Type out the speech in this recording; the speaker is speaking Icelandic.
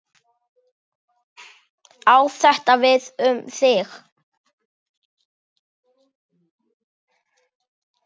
Á þetta við um þig?